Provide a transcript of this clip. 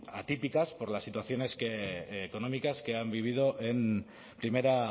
atípicas por las situaciones económicas que han vivido en primera